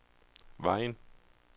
Vejen